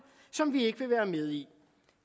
som vi ikke vil være med i